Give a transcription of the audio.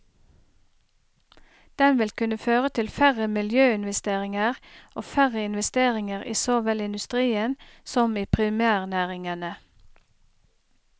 Den vil kunne føre til færre miljøinvesteringer og færre investeringer i så vel industrien som i primærnæringene.